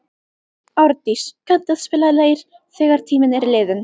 Árdís, kanntu að spila lagið „Þegar tíminn er liðinn“?